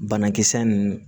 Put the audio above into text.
Banakisɛ ninnu